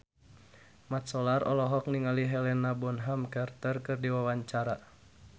Mat Solar olohok ningali Helena Bonham Carter keur diwawancara